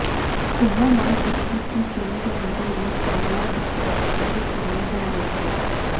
ਉਨ੍ਹਾਂ ਮੰਗ ਕੀਤੀ ਕਿ ਜੇਲ੍ਹ ਦੇ ਅੰਦਰ ਵੀ ਕਨ੍ਹਈਆ ਦੀ ਸੁਰੱਖਿਆ ਯਕੀਨੀ ਬਣਾਈ ਜਾਏ